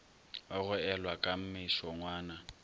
wa go elwa ka mešongwana